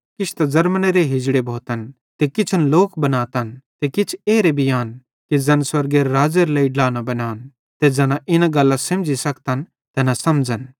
किछ त ज़र्मनेरे हिजड़े भोतन ते किछन लोक बनातन ते किछ एरे भी आन कि ज़ैन स्वर्गेरे राज़्ज़ेरे लेइ ड्ला न बनान ते ज़ैना इना गल्लां सेमझ़ी सखतन तैना समझ़न